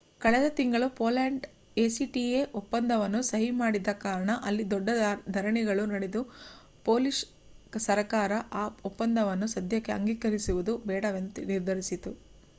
ಕಳೆದ ತಿಂಗಳು Poland acta ಒಪ್ಪಂದವನ್ನು ಸಹಿ ಮಾಡಿದ್ದ ಕಾರಣ ಅಲ್ಲಿ ದೊಡ್ಡ ಧರಣಿಗಳು ನಡೆದು ಪೋಲಿಷ್ ಸರಕಾರ ಆ ಒಪ್ಪಂದವನ್ನು ಸದ್ಯಕ್ಕೆ ಅಂಗೀಕರಿಸುವುದು ಬೇಡವೆಂದು ನಿರ್ಧರಿಸಿತು